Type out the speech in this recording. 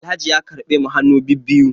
Alhaji ya karbe mu hannu bibiyu